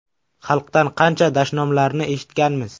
Xalqdan qancha dashnomlarni eshitganmiz.